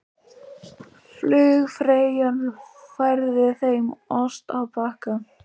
Flugfreyjan færði þeim ost á bakka.